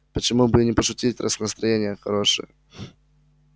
почему бы и не пошутить раз настроение хорошее